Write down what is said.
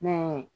Ne ye